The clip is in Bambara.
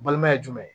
Balima ye jumɛn